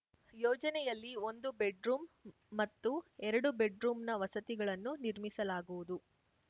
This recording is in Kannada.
ಯೋಜನೆಯಲ್ಲಿ ಒಂದು ಬೆಡ್‌ ರೂಂ ಮತ್ತು ಎರಡು ಬೆಡ್‌ ರೂಂನ ವಸತಿಗಳನ್ನು ನಿರ್ಮಿಸಲಾಗುವುದು